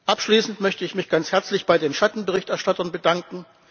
Abschließend möchte ich mich ganz herzlich bei den Schattenberichterstattern bedanken.